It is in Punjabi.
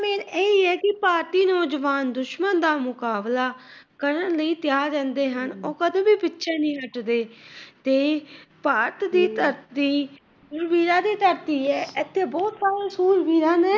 ਇਹ ਹੀ ਏ ਕਿ ਭਾਰਤੀ ਨੌਜਵਾਨ ਦੁਸ਼ਮਣ ਦਾ ਮੁਕਾਬਲਾ ਕਰਨ ਲਈ ਤਿਆਰ ਰਹਿੰਦੇ ਹਨ। ਉਹ ਕਦੇ ਵੀ ਪਿੱਛੇ ਨਹੀਂ ਹੱਟਦੇ। ਭਾਰਤ ਦੀ ਧਰਤੀ ਵੀਰਾਂ ਦੀ ਧਰਤੀ ਏ, ਇੱਥੇ ਬਹੁਤ ਸਾਰੇ ਸੂਰਵੀਰਾਂ ਨੇ।